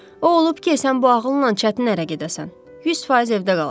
O olub ki, sən bu ağılla çətin ərə gedəsən, 100% evdə qalasan.